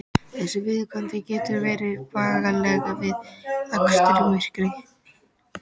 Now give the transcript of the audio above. Þessi viðkvæmni getur verið bagaleg við akstur í myrkri.